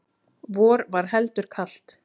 vor var heldur kalt